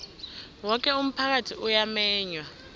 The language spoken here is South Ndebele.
woke umphakathi uyamenywa